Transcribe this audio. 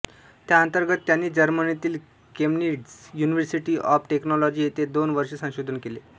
त्याअंतर्गत त्यांनी जर्मनीतील केम्निट्झ युनिव्हर्सिटी ऑफ टेक्नॉलॉजी येथे दोन वर्षे संशोधन केले